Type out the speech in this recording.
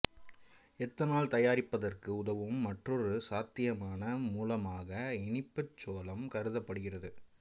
ethanol தயாரிப்பதற்கு உதவும் மற்றொரு சாத்தியமான மூலமாக இனிப்புச் சோளம் கருதப்படுகிறது